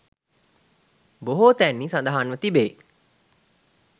බොහෝ තැන්හි සඳහන්ව තිබේ.